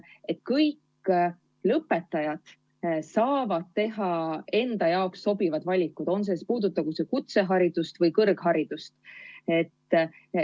Või seda, et kõik lõpetajad saavad teha enda jaoks sobivad valikud, puudutagu see kutseharidust või kõrgharidust?